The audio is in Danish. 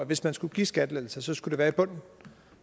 hvis man skulle give skattelettelser skulle være i bunden